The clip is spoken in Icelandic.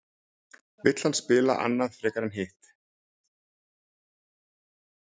Vill hann spila annað frekar en hitt?